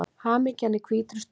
Hamingja í hvítri stofu